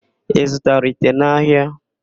Ị zụtara ite n'ahịa?